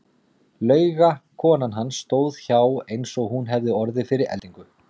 Lauga konan hans stóð hjá eins og hún hefði orðið fyrir eldingu.